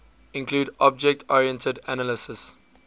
include object oriented analysis